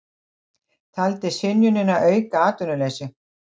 Taldi synjunina auka atvinnuleysi